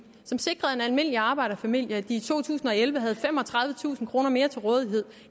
som sikrede at en almindelig arbejderfamilie i to tusind og elleve havde femogtredivetusind kroner mere til rådighed